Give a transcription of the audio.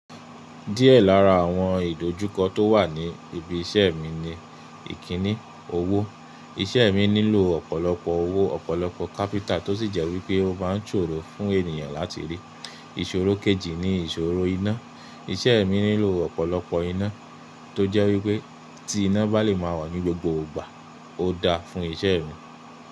Díẹ̀ lára àwọn ìdojúkọ tó wà ní ibi iṣẹ́ mi ni ìkíní owó. Iṣẹ́ mi nílò ọ̀pọ̀lọpọ̀ owó, ọ̀pọ̀lọpọ̀ capital tó sì jẹ́ wípé ó maa ń ṣòro fún ènìyàn láti rí. Ìṣòro kejì ni ìṣòro iná. Iṣẹ́ mi nílò ọ̀pọ̀lọpọ̀ iná tó jẹ́ wípé tí iná bá lè máa wà ní gbogbo ìgbà ó dáa fún iṣẹ́ mi.